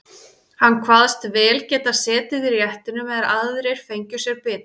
Hann kvaðst vel geta setið í réttinum meðan aðrir fengju sér bita.